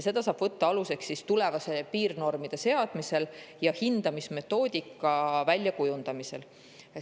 Selle saab võtta aluseks tulevasel piirnormide seadmisel ja hindamismetoodika väljakujundamisel.